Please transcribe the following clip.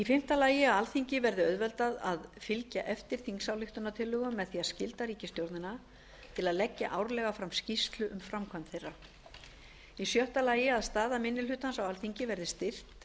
fimmta að alþingi verði auðveldað að fylgja eftir þingsályktunum með því að skylda ríkisstjórnina til að leggja árlega fram skýrslu um framkvæmd þeirra sjötta að staða minni hlutans á alþingi verði styrkt